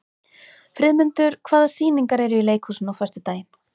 Friðmundur, hvaða sýningar eru í leikhúsinu á föstudaginn?